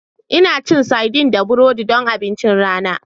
Ina cin sardines da burodi don abincin rana